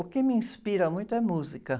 O que me inspira muito é música.